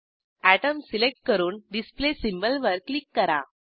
atom select करून display symbol वर click करा